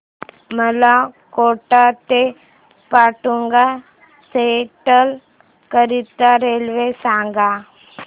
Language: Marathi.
मला कोटा ते माटुंगा सेंट्रल करीता रेल्वे सांगा